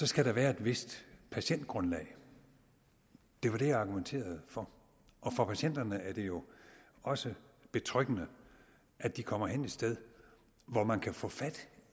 skal der være et vist patientgrundlag det var det jeg argumenterede for og for patienterne er det jo også betryggende at de kommer hen et sted hvor man kan få fat